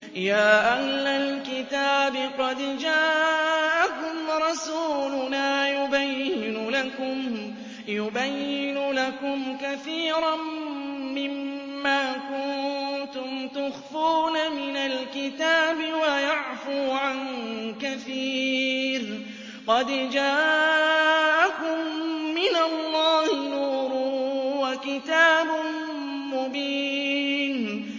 يَا أَهْلَ الْكِتَابِ قَدْ جَاءَكُمْ رَسُولُنَا يُبَيِّنُ لَكُمْ كَثِيرًا مِّمَّا كُنتُمْ تُخْفُونَ مِنَ الْكِتَابِ وَيَعْفُو عَن كَثِيرٍ ۚ قَدْ جَاءَكُم مِّنَ اللَّهِ نُورٌ وَكِتَابٌ مُّبِينٌ